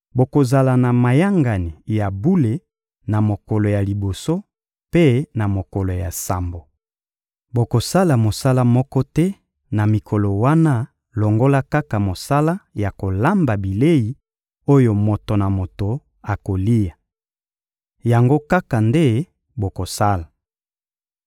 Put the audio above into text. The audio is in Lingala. Bokozala na mayangani ya bule na mokolo ya liboso mpe na mokolo ya sambo. Bokosala mosala moko te na mikolo wana longola kaka mosala ya kolamba bilei oyo moto na moto akolia. Yango kaka nde bokosala.